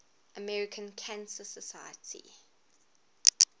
american cancer society